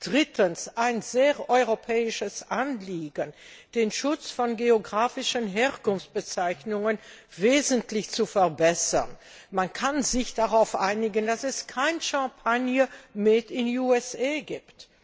drittens ein sehr europäisches Anliegen den Schutz von geografischen Herkunftsbezeichnungen wesentlich zu verbessern man kann sich darauf einigen, dass es keinen Champagner made in USA gibt